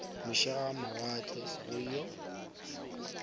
moše a mawatle go yo